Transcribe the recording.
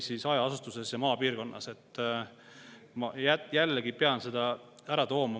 Ma pean selle jällegi ära tooma.